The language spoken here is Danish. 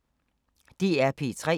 DR P3